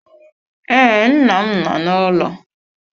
Ee, nna m nọ n'ụlọ.